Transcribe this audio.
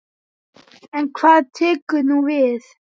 En hvað tekur nú við?